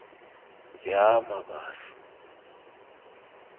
yamabaso